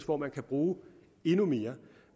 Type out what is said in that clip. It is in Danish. hvor man kan bruge endnu mere